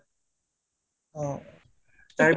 অ তাৰ পিছত